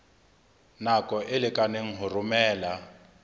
nako e lekaneng ho romela